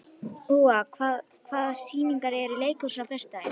Úa, hvaða sýningar eru í leikhúsinu á föstudaginn?